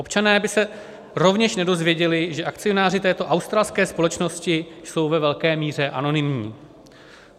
Občané by se rovněž nedozvěděli, že akcionáři této australské společnosti jsou ve velké míře anonymní.